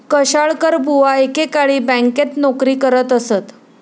कशाळकरबुवा एकेकाळी बँकेत नोकरी करत असत.